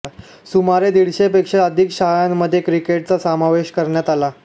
सुमारे दीडशेपेक्षा अधिक शाळांमध्ये क्रिकेटचा समावेश करण्यात आला